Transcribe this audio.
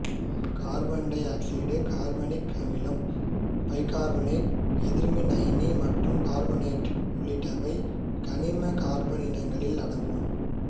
carbon dioxide carbonic அமிலம் bicarbonate எதிர்மின் அயனி மற்றும் கார்பனேட்டு உள்ளிட்டவை கனிம கார்பன் இனங்களில் அடங்கும்